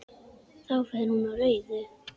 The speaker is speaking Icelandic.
Þá fer hún á rauðu.